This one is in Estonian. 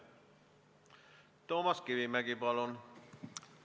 Toomas Kivimägi, palun!